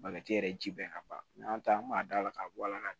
Bagaji yɛrɛ ji bɛɛ ka ban n'an taala an b'a da la k'a bɔ a la